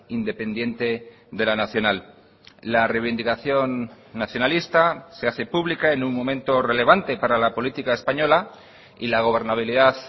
independiente de la nacional la reivindicación nacionalista se hace pública en un momento relevante para la política española y la gobernabilidad